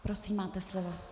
Prosím, máte slovo.